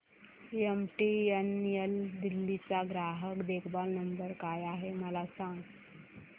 MTNL Delhi चा ग्राहक देखभाल नंबर काय आहे मला सांग